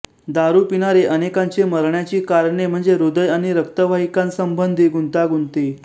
दारू पिणारे अनेकांचे मरण्याची कारणे म्हणजे हृदय आणि रक्तवाहिकासंबंधी गुंतागुंती